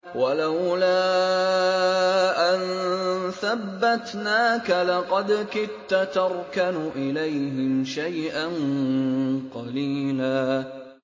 وَلَوْلَا أَن ثَبَّتْنَاكَ لَقَدْ كِدتَّ تَرْكَنُ إِلَيْهِمْ شَيْئًا قَلِيلًا